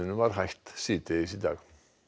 var hætt síðdegis í dag